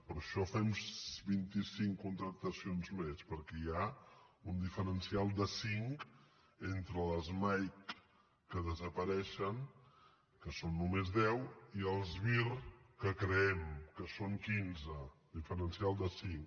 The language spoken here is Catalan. per això fem vint i cinc contractacions més perquè hi ha un diferencial de cinc entre les mike que desapareixen que són només deu i els vir que creem que són quinze diferencial de cinc